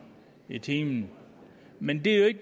i timen men det